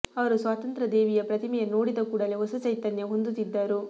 ಅವರು ಸ್ವಾತಂತ್ರ್ಯ ದೇವಿಯ ಪ್ರತಿಮೆಯನ್ನು ನೋಡಿದ ಕೂಡಲೇ ಹೊಸ ಚೈತನ್ಯ ಹೊಂದುತ್ತಿದ್ದರು